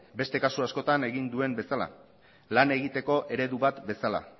beste kasu askotan egin duen bezala lan egiteko eredu bat bezala